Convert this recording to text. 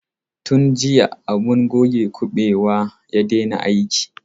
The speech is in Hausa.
Tun jiya abun goge kuɓewa ya daina aiki.